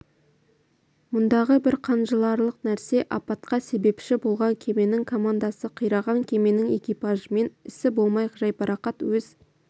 мұндағы бір қынжыларлық нәрсе апатқа себепші болған кеменің командасы қираған кеменің экипажымен ісі болмай жайбарақат өз